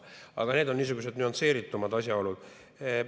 Aga need on niisugused nüansseeritumad asjaolud.